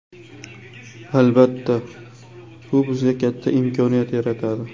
Albatta, bu bizga katta imkoniyat yaratadi.